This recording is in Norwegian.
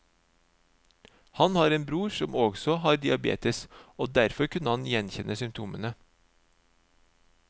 Han har en bror som også har diabetes, og derfor kunne han gjenkjenne symptomene.